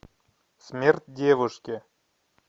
смерть девушки